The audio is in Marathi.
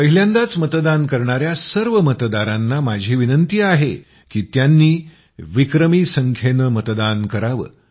पहिल्यांदाच मतदान करणाया सर्व मतदारांना माझी विनंती आहे की त्यांनी विक्रमी संख्येनं मतदान करावं